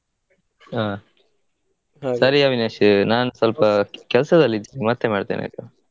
ಹಾ. ಸರಿ ಅವಿನಾಶ್ ನಾನ್ ಸ್ವಲ್ಪ ಕೆಲಸದಲ್ಲಿದ್ದೇನೆ ಮತ್ತೆ ಮಾಡ್ತೆನೆ.